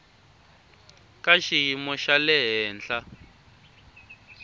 ka xiyimo xa le henhla